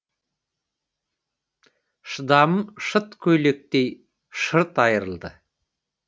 шыдамым шыт көйлектей шырт айырылды